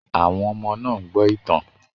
Àwọn ọmọ náà ń gbọ́ ìtàn